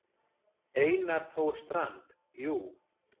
Einar Þór Strand: Jú.